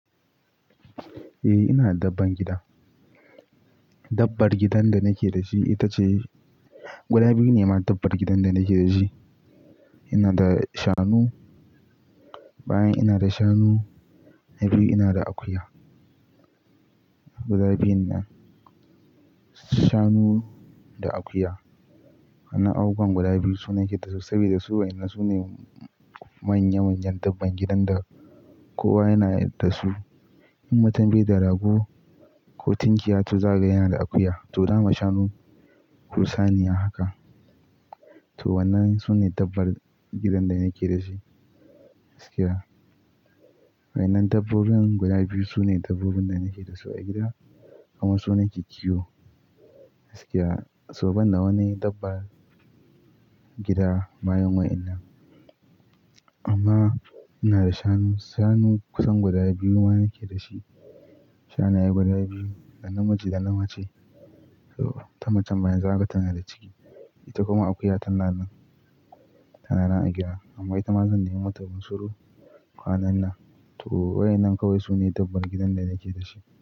Eh, ina da dabban gida. Dabbar gidan da nake da shi ita ce, guda biyu ne ma dabbar gidan da nake da shi. Ina da shanu, bayan ina da shanu, na biyu ina da akuya. Guda biyun nan, shanu da akuya. Wannan abubuwan guda biyu su nake dasu saboda su wa'yannan su ne manya manyan dabbar gidan da kowa yana da su. In mutum bai da rago ko tunkiya to zagaye yana da akuya. To, zakaga shanu ku saniya haka. To, wannan su ne dabbar gidan da nake da shi. Gaskiya wannan dabbobin guda biyu su ne dabbobin da nake da su a gida. Kuma su nake kiwo. Gaskiya so banda wani dabba gida bayan wa'yannan. Amma ina da shanu, shanu kusan guda biyu ma nake da shi. Shanaye guda biyu, da namiji da namace. To, ta macen ma yanzu haka tana da ciki. Ita kuma akuya tana nan, tana nan a gida. Amma ita ma zan nemo mata bunsuru. Kwanan nan. To, waɗannan kawai su ne dabbar gidan da nake da shi.